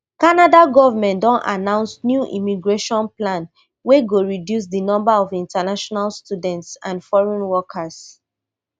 canada govment don announce new immigration plan wey go reduce di number of international students and foreign workers